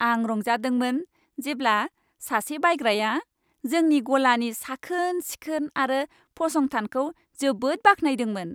आं रंजादोंमोन जेब्ला सासे बायग्राया जोंनि गलानि साखोन सिखोन आरो फसंथानखौ जोबोद बाख्नायदोंमोन।